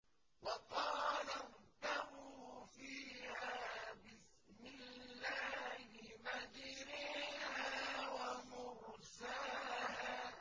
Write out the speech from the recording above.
۞ وَقَالَ ارْكَبُوا فِيهَا بِسْمِ اللَّهِ مَجْرَاهَا وَمُرْسَاهَا ۚ